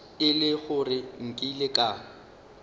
e le gore nkile ka